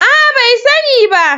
A'a! bai sani ba.